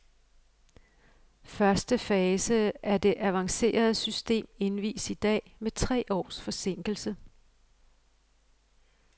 Første fase af det avancerede system indvies i dag med tre års forsinkelse.